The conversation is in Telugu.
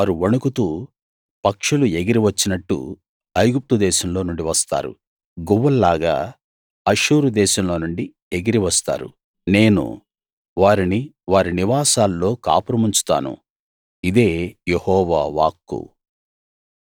వారు వణకుతూ పక్షులు ఎగిరి వచ్చినట్టు ఐగుప్తు దేశంలో నుండి వస్తారు గువ్వల్లాగా అష్షూరు దేశంలోనుండి ఎగిరి వస్తారు నేను వారిని వారి నివాసాల్లో కాపురముంచుతాను ఇదే యెహోవా వాక్కు